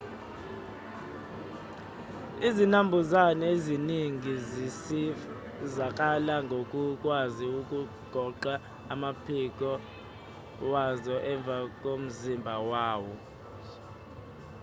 izinambuzane eziningi zisizakala ngokukwazi ukugoqa amaphiko wazo emva komzimba wazo